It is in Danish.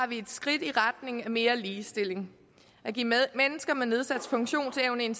vi et skridt i retning af mere ligestilling at give mennesker med nedsat funktionsevne en